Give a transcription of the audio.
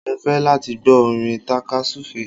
Mo ń fẹ́ láti gbọ́ orin tàka-súfeé